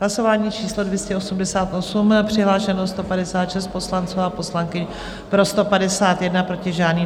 Hlasování číslo 288, přihlášeno 156 poslanců a poslankyň, pro 151, proti žádný.